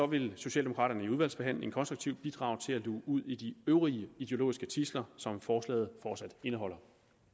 vil socialdemokraterne under udvalgsbehandlingen konstruktivt bidrage til at luge ud i de øvrige ideologiske tidsler som forslaget fortsat indeholder